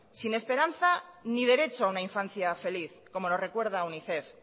sin esperanza ni derecho a una infancia feliz como nos recuerdo unicef